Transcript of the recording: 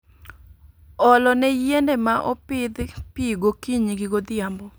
Olo ne yiende ma opidh pi gokinyi gi godhiambo